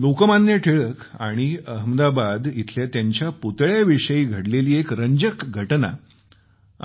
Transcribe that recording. लोकमान्य टिळक आणि अहमदाबाद इथंल्या त्यांच्या पुतळ्याविषयी घडलेली एक रंजक घटना